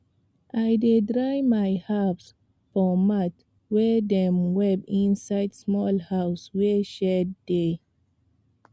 i dey dry my herbs for mat wey dem weave inside small house wey shade dey